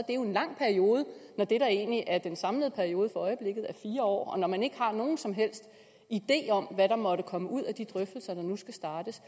en lang periode når det der egentlig er den samlede periode for øjeblikket er fire år og når man ikke har nogen som helst idé om hvad der måtte komme ud af de drøftelser der nu skal startes